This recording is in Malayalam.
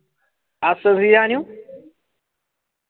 ആ സുഫിയാനും